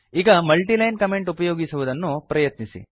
ಈಗ multiline comment ಉಪಯೋಗಿಸಲು ಪ್ರಯತ್ನಿಸಿ